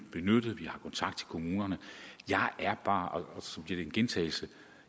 benyttet vi har kontakt til kommunerne jeg er bare og så bliver det en gentagelse